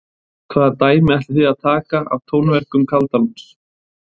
Hvaða dæmi ætlið þið að taka af tónverkum Kaldalóns?